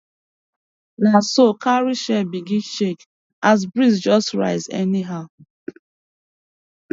na so cowrie shell begin shake as breeze just rise anyhow